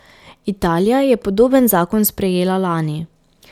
Italija je podoben zakon sprejela lani.